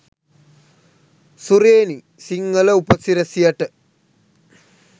සුරේනි සිංහල උපසිරැසියට.